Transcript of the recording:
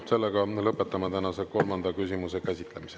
Sellega lõpetame tänase kolmanda küsimuse käsitlemise.